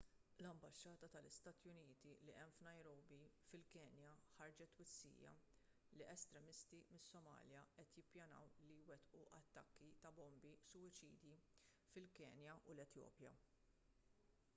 l-ambaxxata tal-istati uniti li hemm f'nairobi fil-kenya ħarġet twissija li estremisti mis-somalja qed jippjanaw li jwettqu attakki ta' bombi suwiċidi fil-kenja u l-etjopja